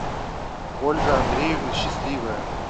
ольга андреевна счастливая